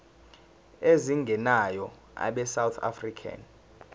ezingenayo abesouth african